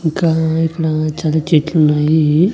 ఇంకా ఇక్కడా చాలా చెట్లు ఉన్నాయి.